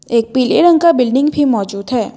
एक पीले रंग का बिल्डिंग भी मौजूद है।